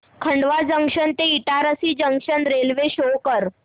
Khandwa junction ते Itarsi junction railway show कर